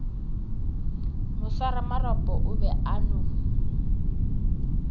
moswaramarapo o be a no